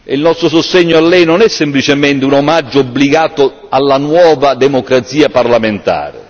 Il nostro sostegno a Lei non è semplicemente un omaggio obbligato alla nuova democrazia parlamentare.